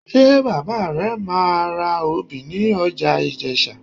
Ṣé bàbá rẹ máa obì ní ọjà Ìjẹ̀sà?